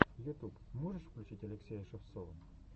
ютуб можешь включить алексея шевцова